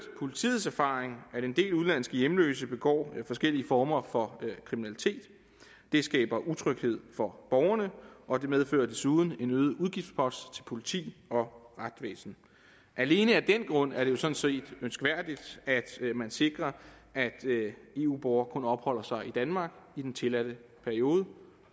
politiets erfaring at en del udenlandske hjemløse begår forskellige former for kriminalitet det skaber utryghed for borgerne og det medfører desuden en øget udgiftspost for politi og retsvæsen alene af den grund er det jo sådan set ønskværdigt at man sikrer at eu borgere kun opholder sig i danmark i den tilladte periode